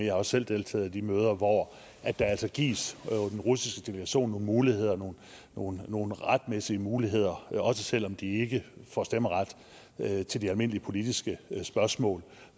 har også selv deltaget i de møder hvor der altså gives den russiske delegation nogle muligheder nogle nogle retmæssige muligheder også selv om de ikke får stemmeret til de almindelige politiske spørgsmål